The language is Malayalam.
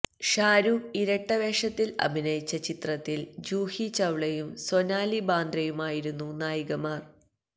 ഷാരൂഖ് ഇരട്ടവേഷത്തില് അഭിനയിച്ച ചിത്രത്തില് ജൂഹി ചവ്ലയും സോനാലി ബാന്ദ്രയുമായിരുന്നു നായികമാര്